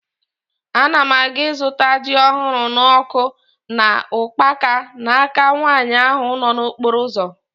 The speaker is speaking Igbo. Ana m aga ịzụta ji ahụrụ n'ọkụ na ukpaka n'aka nwaanyị ahụ nọ n'okporo ụzọ